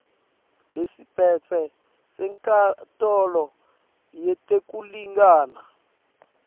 lesiphetse senkantolo yetekulingana